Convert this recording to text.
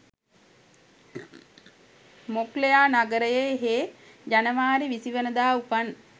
මොක්ලෙයා නගරයේ හේ ජනවාරි විසි වනදා උපන්